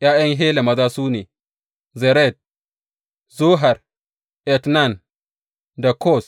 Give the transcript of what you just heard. ’Ya’yan Hela maza su ne, Zeret, Zohar, Etnan, da Koz.